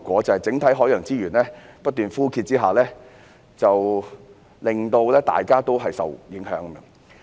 在整體海洋資源不斷枯竭下，大家均受影響。